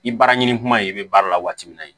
I baara ɲini kuma in bɛ baara la waati min na